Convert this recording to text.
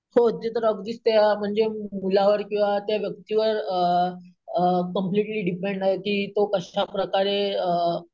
हो ते तर अगदीच ते अम म्हणजे मुलावर किंवा त्या व्यक्तीवर अम अम कम्प्लीटली डिपेंड आहे कि तो कशाप्रकारे अम